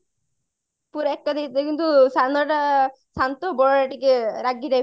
ପୁରା ଏକା ଦେଖିଥିଲେ କିନ୍ତୁ ସାନ ଟା ଶାନ୍ତ ବଡଟା ଟିକେ ରାଗି type ର ଥିଲା